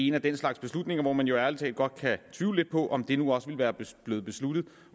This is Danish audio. en af den slags beslutninger hvor man jo ærlig talt godt kan tvivle lidt på om det nu også ville være blevet besluttet